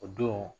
O don